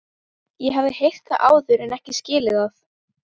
Ég hafði heyrt það áður en ekki skilið það.